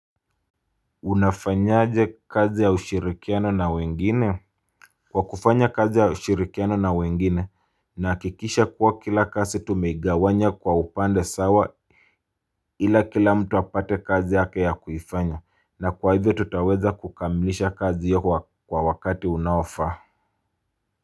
Unafanyaje kazi ya ushirikiano na wengine kwa kufanya kazi ya ushirikiano na wengine nahikikisha kuwa kila kasi tumeigawanya kwa upande sawa ila kila mtu apate kazi yake ya kuifanya na kwa hivyo tutaweza kukamilisha kazi hiyo kwa wakati unaoafaa.